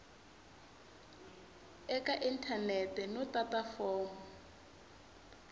eka inthanete no tata fomo